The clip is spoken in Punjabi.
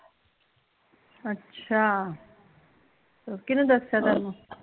ਅੱਛਾ , ਕਿਹਨੇ ਦੱਸਿਆ ਤੈਨੂ?